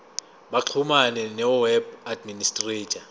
baxhumane noweb administrator